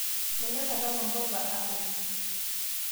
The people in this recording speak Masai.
Manyor atama mboga a apeny